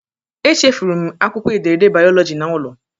Echefuru m akwụkwọ ederede bayoloji na hom.